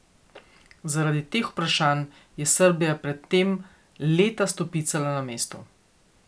Zaradi teh vprašanj je Srbija pred tem leta stopicala na mestu.